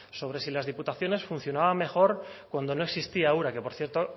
sobre si las diputaciones funcionaban mejor cuando no existía ura que por cierto